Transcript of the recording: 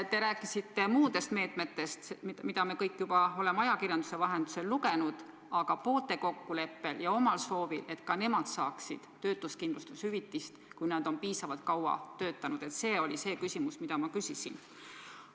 Te rääkisite muudest meetmetest, millest me kõik oleme juba ajakirjanduse vahendusel lugenud, aga poolte kokkuleppel ja omal soovil lahkujate töötuskindlustushüvitis, kui nad on piisavalt kaua töötanud – see oli asi, mille kohta ma küsisin.